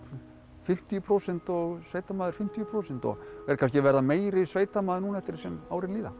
fimmtíu prósent og sveitamaður fimmtíu prósent og er kannski að verða meiri sveitamaður núna eftir því sem árin líða